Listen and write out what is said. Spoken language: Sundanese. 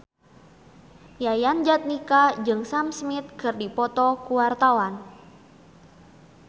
Yayan Jatnika jeung Sam Smith keur dipoto ku wartawan